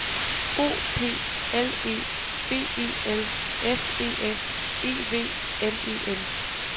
O P L E V E L S E S E V N E N